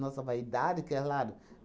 vaidade, claro.